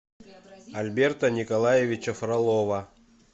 альберта николаевича фролова